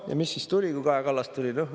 Ja mis siis sai, kui Kaja Kallas tuli?